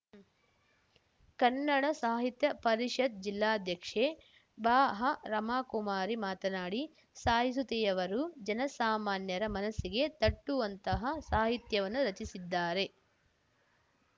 ಕನ್ನಡ ಸಾಹಿತ್ಯ ಪರಿಷತ್ ಜಿಲ್ಲಾಧ್ಯಕ್ಷೆ ಬಾಹ ರಮಾಕುಮಾರಿ ಮಾತನಾಡಿ ಸಾಯಿಸುತೆಯವರು ಜನಸಾಮಾನ್ಯರ ಮನಸ್ಸಿಗೆ ತಟ್ಟುವಂತಹ ಸಾಹಿತ್ಯವನ್ನು ರಚಿಸಿದ್ದಾರೆ